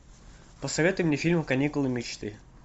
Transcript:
посоветуй мне фильм каникулы мечты